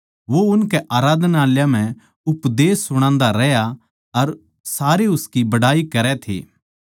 वो उनके आराधनालयाँ म्ह उपदेश सुणान्दा रह्या अर सारे उसकी बड़ाई करै थे